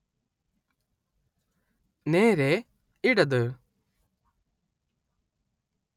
നേരേ ഇടത്